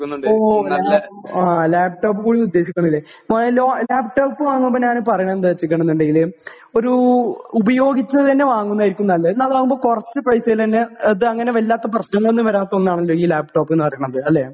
Okay, നല്ല, laptop കൂടി ഉദ്ദേശിക്കുന്നുണ്ട്. ലാപ്ടോപ്പ് വാങ്ങുമ്പോൾ ഞാൻ പറയുന്നത് എന്താ വെച്ചേക്കണ് എന്നുണ്ടെങ്കിൽ ഒരു ഉപയോഗിച്ചത് തന്നെ വാങ്ങുന്നത് ആയിരിക്കും നല്ലത്. എന്നാ അതാകുമ്പോൾ കുറച്ചു പൈസയിൽ തന്നെ ഇത് അങ്ങനെ വല്ലാത്ത പ്രശ്നങ്ങൾ ഒന്നും വരാത്ത ഒന്നാണല്ലോ ഈ ലാപ്ടോപ്പ് എന്ന് പറയുന്നത്. അല്ലെ?